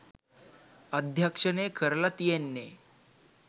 අධ්‍යක්ෂණය කරල තියෙන්නේ